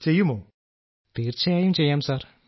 രാജേഷ് പ്രജാപതി തീർച്ചയായും ചെയ്യാം സർ